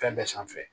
Fɛn bɛɛ sanfɛ